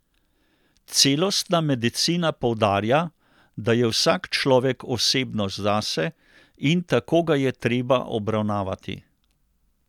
Celostna medicina poudarja, da je vsak človek osebnost zase, in tako ga je treba obravnavati.